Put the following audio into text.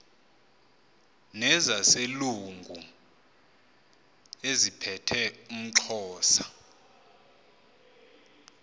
nezaselungu eziphethe umxhosa